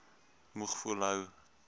moeg voel hou